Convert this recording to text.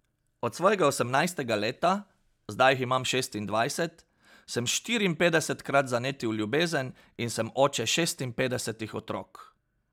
Od svojega osemnajstega leta, zdaj jih imam šestindvajset, sem štiriinpetdesetkrat zanetil ljubezen in sem oče šestinpetdesetih otrok.